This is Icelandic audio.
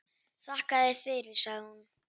Þakka þér fyrir, sagði hún.